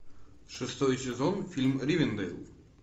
шестой сезон фильм ривенделл